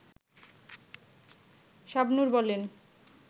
শাবনূর বলেন